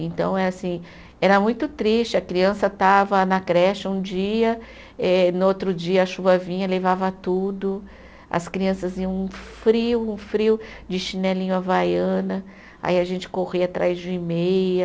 Então, eh assim, era muito triste, a criança estava na creche um dia, eh no outro dia a chuva vinha, levava tudo, as crianças iam frio, no frio, de chinelinho havaiana, aí a gente corria atrás de meia.